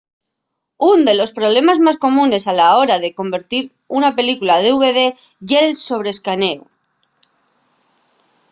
ún de los problemes más comunes a la hora de convertir una película a dvd ye’l sobre-escanéu